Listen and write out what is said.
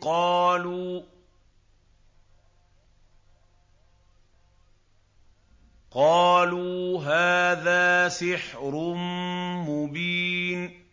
قَالُوا هَٰذَا سِحْرٌ مُّبِينٌ